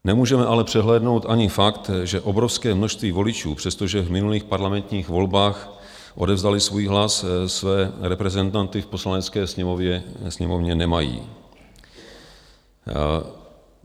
Nemůžeme ale přehlédnout ani fakt, že obrovské množství voličů, přestože v minulých parlamentních volbách odevzdali svůj hlas, své reprezentanty v Poslanecké sněmovně nemají.